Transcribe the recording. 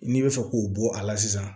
N'i bɛ fɛ k'o bɔ a la sisan